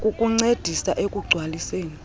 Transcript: kukuncedisa ekugc waliseni